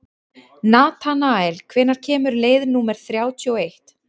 Natanael, hvenær kemur leið númer þrjátíu og eitt?